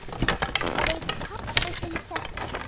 Veit pabbi þinn þetta?